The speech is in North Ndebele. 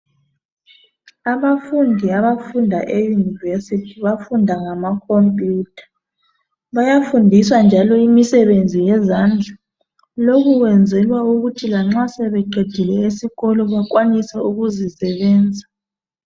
Abafundi abafunda eyunivesithi bafunda ngama khompiyutha bayafundiswa njalo imisebenzi yezandla. Lokhu kwenzelwa ukuthi lanxa sebeqedile esikolo bakwanise ukuzisebenza.